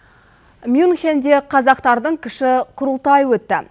мюнхенде қазақтардың кіші құрылтайы өтті